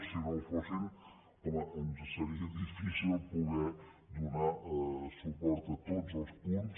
si no ho fossin home ens seria difícil poder donar suport a tots els punts